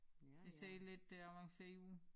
Det ser lidt øh avanceret ud